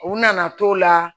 U nana t'o la